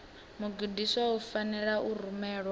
mugudiswa u fanela u rumelwa